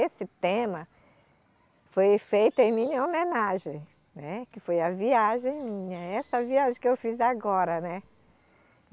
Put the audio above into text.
Esse tema foi feito em minha homenagem, né, que foi a viagem minha, essa viagem que eu fiz agora, né.